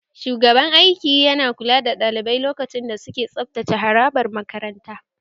Shugaban aiki ya na kula da ɗalibai lokacin da suke tsabtace harabar makaranta